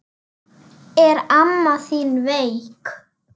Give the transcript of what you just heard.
Er amma þín veik?